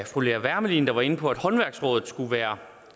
fru lea wermelin der var inde på at håndværksrådet skulle være